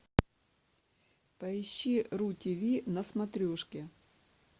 поищи ру тв на смотрешке